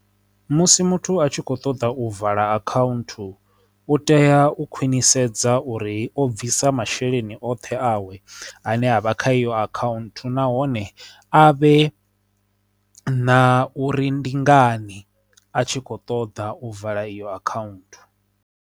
Musi muthu a tshi kho ṱoḓa u vala account u tea u khwinisa sedza uri o bvisa masheleni oṱhe awe ane avha kha iyo akhaunthu nahone a vhe na uri ndi ngani a tshi kho ṱoḓa u vala iyo account.